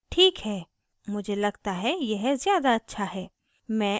ठीक है मुझे लगता है यह ज़्यादा अच्छा है